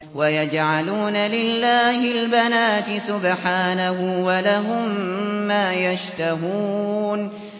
وَيَجْعَلُونَ لِلَّهِ الْبَنَاتِ سُبْحَانَهُ ۙ وَلَهُم مَّا يَشْتَهُونَ